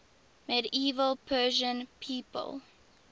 medieval persian people